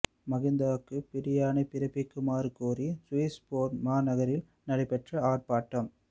மகிந்தவுக்கு பிடியாணை பிறப்பிக்குமாறு கோரி சுவிஸ் பேர்ண் மாநகரில் நடைபெற்ற ஆர்ப்பாட்டம்